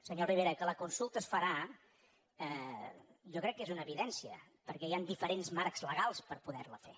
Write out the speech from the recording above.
senyor rivera que la consulta es farà jo crec que és una evidència perquè hi han diferents marcs legals per poder la fer